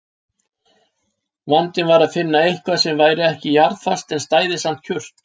Vandinn var að finna eitthvað sem væri ekki jarðfast en stæði samt kjurt.